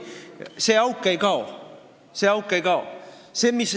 See auk ei kao!